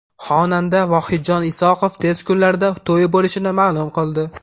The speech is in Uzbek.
Xonanda Vohidjon Isoqov tez kunlarda to‘yi bo‘lishini ma’lum qildi.